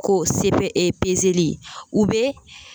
K'o sebɛn o ye ye, u be.